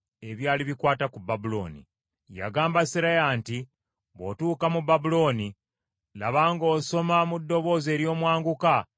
Yagamba Seraya nti, “Bw’otuuka mu Babulooni, laba ng’osoma mu ddoboozi ery’omwanguka ebigambo bino byonna.